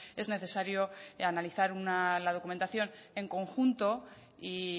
es necesario analizar una la documentación en conjunto y